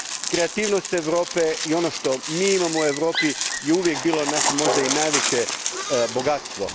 Kreativnost Europe i ono što mi imamo u Europi je uvijek bilo naše, možda i najveće, bogatstvo.